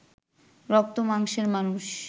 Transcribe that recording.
রক্ত মাংসের মানুষ